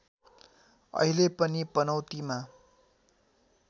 अहिले पनि पनौतीमा